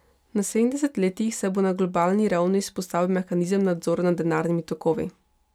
V naslednjih desetletjih se bo na globalni ravni vzpostavil mehanizem nadzora nad denarnimi tokovi.